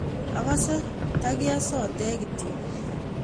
akase ndakiye sodek kityo